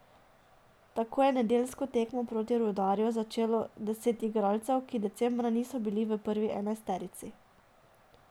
Tako je nedeljsko tekmo proti Rudarju začelo deset igralcev, ki decembra niso bili v prvi enajsterici.